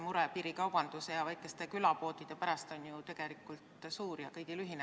Mure piirikaubanduse ja väikeste külapoodide pärast on ju tegelikult suur ja kõigil ühine.